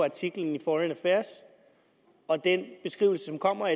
artiklen i foreign affairs og den beskrivelse der kommer